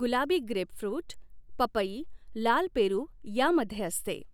गुलाबी ग्रेपफृट पपई लाल पेरू यामध्ये असते.